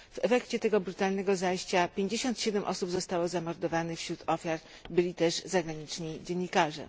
W efekcie tego brutalnego zajścia 57 osób zostało zamordowanych, wśród ofiar byli też zagraniczni dziennikarze.